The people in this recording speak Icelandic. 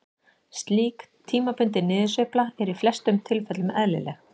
Slík tímabundin niðursveifla er í flestum tilfellum eðlileg.